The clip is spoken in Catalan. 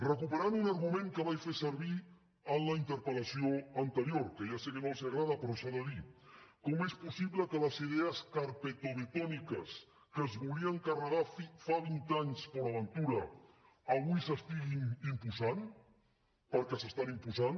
recuperant un argument que vaig fer servir en la interpel·lació anterior que ja sé que no els agrada però s’ha de dir com és possible que les idees carpetovetòniques que es volien carregar fa vint anys port aventura avui s’estiguin imposant perquè s’estan imposant